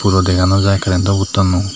puroon dega nojai currento boardno.